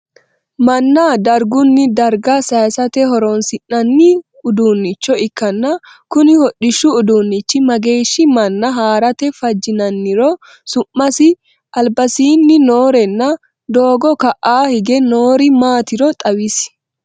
Manna dargunni darga sayisate horoonsi'nanni uduucho ikanna kunni hodhishu uduunichi mageeshi manna harate fajinanniro, su'masi, albasiinni noorenna doogo ka'a hige noori maatiro xawisi?